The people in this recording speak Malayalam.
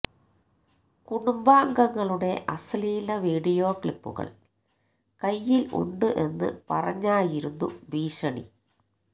കുടുംബാംഗങ്ങളുടെ അശ്ലീല വീഡിയോ ക്ലിപ്പുകൾ കൈയിൽ ഉണ്ട് എന്ന് പറഞ്ഞായിരുന്നു ഭീഷണി